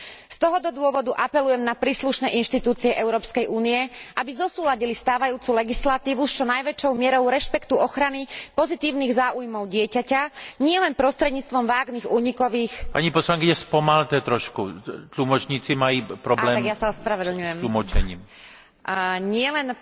Z tohto dôvodu apelujem na príslušné inštitúcie Európskej únie, aby zosúladili stávajúcu legislatívu s čo najväčšou mierou rešpektu ochrany pozitívnych záujmov dieťaťa, nielen